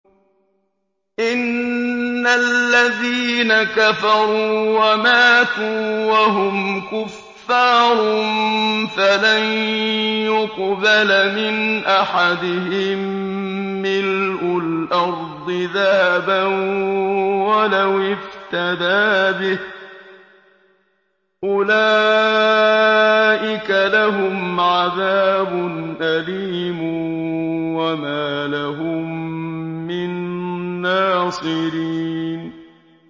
إِنَّ الَّذِينَ كَفَرُوا وَمَاتُوا وَهُمْ كُفَّارٌ فَلَن يُقْبَلَ مِنْ أَحَدِهِم مِّلْءُ الْأَرْضِ ذَهَبًا وَلَوِ افْتَدَىٰ بِهِ ۗ أُولَٰئِكَ لَهُمْ عَذَابٌ أَلِيمٌ وَمَا لَهُم مِّن نَّاصِرِينَ